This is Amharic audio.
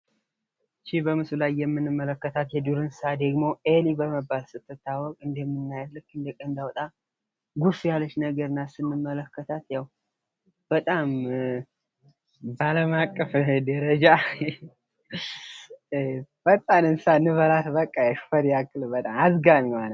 ይህ በምስሉ ላይ የምንመለከታት የዱር እንስሳት ደግሞ ኤሊ ትባላለች ። በአለም አቀፍ ደረጃ በጣም አዝጋሚዋ እንስሳት ናት።